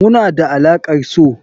Muna da alaƙar so.